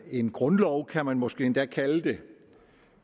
en grundlov kan man måske endda kalde det